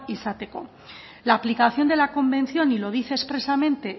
izateko la aplicación de la convención y lo dice expresamente